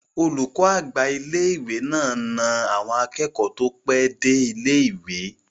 Olùkọ́ àgbà ilé-ìwé náà na àwọn akẹ́kọ̀ọ́ tó pẹ́ dé ilé-ìwé